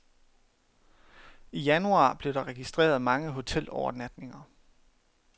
I januar blev der registreret mange hotelovernatninger.